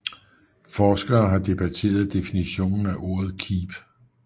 Forskere har debatteret definitionen af ordet keep